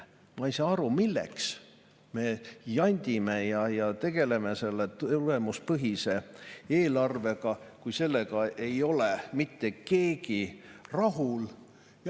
Ma ei saa aru, milleks me jandime ja tegeleme selle tegevuspõhise eelarvega, kui sellega ei ole mitte keegi rahul.